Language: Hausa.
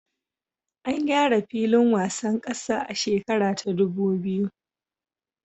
An gyara filin wasan kasa a shekara ta ɗubu biyu